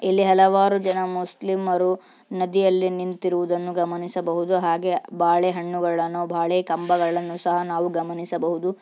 ಇಲ್ಲಿ ಹಲವಾರು ಜನ ಮುಸ್ಲಿಮರು ನದಿಯಲ್ಲಿ ನಿಂತಿರುವುದನ್ನು ಗಮನಿಸಬಹುದು ಹಾಗೆ ಬಾಳೆಹಣ್ಣುಗಳನ್ನು ಬಾಳೆ ಕಂಬಗಳನ್ನು ಸಹ ನಾವು ಗಮನಿಸಬಹುದು.